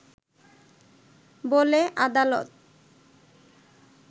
বলে আদালত